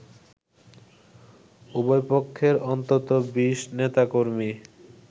উভয় পক্ষের অন্তত ২০ নেতাকর্মী